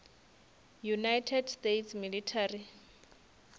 united states military